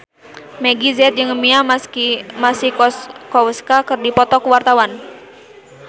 Meggie Z jeung Mia Masikowska keur dipoto ku wartawan